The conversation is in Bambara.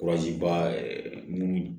ba minnu